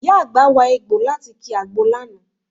Ìyá àgbà wa egbọ̀ láti ki àgbo lánàá